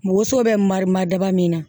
Woso bɛ mari ma daba min na